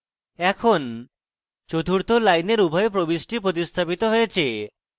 এখন চতুর্থ লাইনের উভয় প্রবিষ্টি প্রতিস্থাপিত হয়েছে